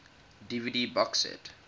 dvd box set